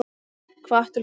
Hvatt til framkvæmda